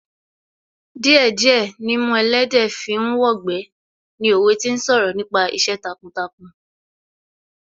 Díẹ̀ díẹ̀ nimú ẹlẹ́dẹ̀ẹ́ fi ń wọgbà ni òwe tí ń sọ̀rọ̀ nípa iṣẹ́ takuntakun